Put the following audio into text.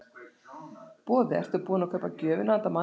Boði: Ertu búin að kaupa gjöfina handa manninum?